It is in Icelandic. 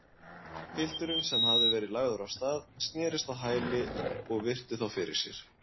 Pilturinn, sem hafði verið lagður af stað, snerist á hæli og virti þá fyrir sér.